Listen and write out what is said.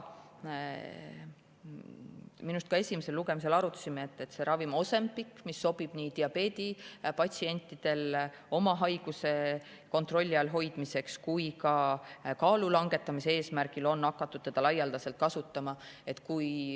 Minu arust me esimesel lugemisel arutasime, et üks selline ravim on Ozempic, mis sobib diabeedipatsientidele haiguse kontrolli all hoidmiseks, aga seda on ka kaalulangetamise eesmärgil laialdaselt kasutama hakatud.